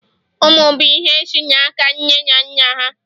ụmụ bụ ihe si n'aka nne na nna ha